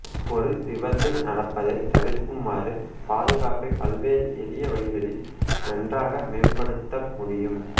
ஒரு விபத்து நடப்பதை தவிர்க்குமாறு பாதுகாப்பை பல்வேறு எளிய வழிகளில் நன்றாக மேம்படுத்தமுடியும்